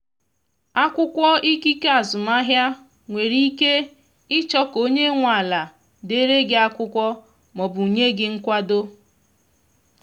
akwụkwọ ikike azụmahịa nwere ike ịchọ ka onye nwe ala dere gị akwụkwọ ma ọ bụ nye gị nkwado.